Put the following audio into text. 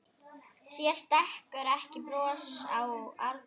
Þér stekkur ekki bros Árni.